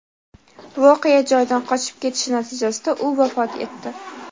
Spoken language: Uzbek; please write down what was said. voqea joyidan qochib ketishi natijasida u vafot etdi.